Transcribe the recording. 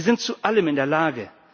Sie sind zu allem in der Lage.